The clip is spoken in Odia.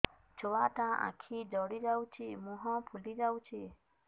ଛୁଆଟା ଆଖି ଜଡ଼ି ଯାଉଛି ମୁହଁ ଫୁଲି ଯାଉଛି